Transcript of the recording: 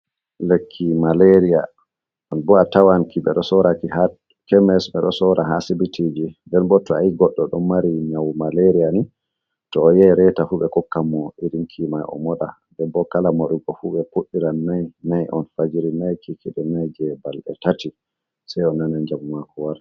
Lekki malaria ɗum bo a atawanki ɓeɗo sora ki ha kemis ɓe ɗo sora ha sibitiji, nde bo to goɗdo ɗon mari nyawu malaria ni to o yei retafu ɓe kokkan mo irin kimai o moɗa. Den bo kala moɗugo fu ɓe fuɗiran nai nai on fajiri nai, kikiɗe nai, je ɓalɗe tati sai on nana jamu mako warti.